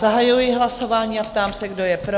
Zahajuji hlasování a ptám se, kdo je pro?